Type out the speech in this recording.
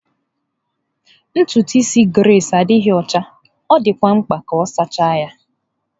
Ntutu isi Grace adịghị ọcha, ọ dịkwa mkpa ka a sachaa ya..